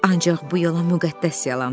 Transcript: Ancaq bu yalan müqəddəs yalandı.